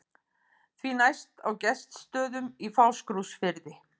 Því næst á Gestsstöðum í Fáskrúðsfirði.